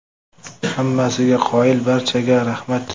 Hammasiga qoyil, barchaga rahmat.